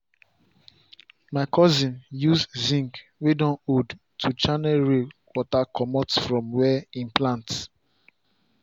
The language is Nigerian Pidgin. my cousin use zince wey don old to channel rain water comot from where him plant